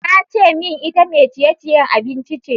Ta ce min ita mai ciye-ciye abinci ce.